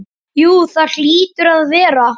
Jú það hlýtur að vera.